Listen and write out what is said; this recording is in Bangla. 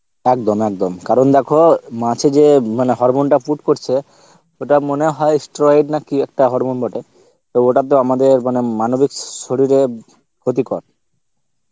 একদম একদম কারণ দেখো মাঝে যেয়ে hormone টা put করছে ওটা মনে হয় stroid না কি একটা hormone বটে তো ওটা তো আমাদের মানে মানবিক শরীরে ক্ষতি কর